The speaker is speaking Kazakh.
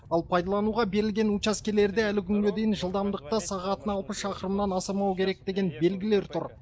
ал пайдалануға берілген учаскелерде әлі күнге дейін жылдамдықты сағатына алпыс шақырымнан асырмау керек деген белгілер тұр